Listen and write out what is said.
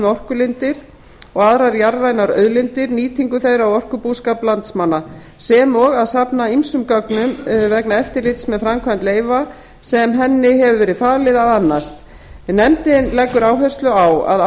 orkulindir og aðrar jarðrænar auðlindir nýtingu þeirra og orkubúskap landsmanna sem og að safna ýmsum gögnum vegna eftirlits með framkvæmd leyfa sem henni hefur verið falið að annast nefndin leggur áherslu á að